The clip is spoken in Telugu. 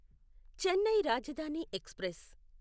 చెన్నై రాజధాని ఎక్స్ప్రెస్